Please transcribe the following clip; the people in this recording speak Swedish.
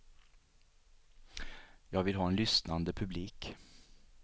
Jag vill ha en lyssnande publik.